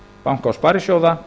banka og sparisjóða að